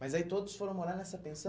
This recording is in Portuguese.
Mas aí todos foram morar nessa pensão?